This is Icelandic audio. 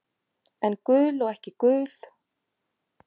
En gul og ekki gul.